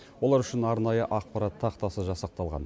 олар үшін арнайы ақпарат тақтасы жасақталған